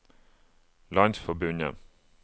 landsforbundet